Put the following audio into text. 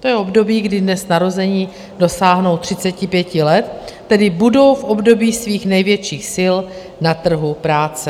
To je období, kdy dnes narození dosáhnou 35 let, tedy budou v období svých největších sil na trhu práce.